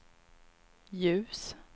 ljus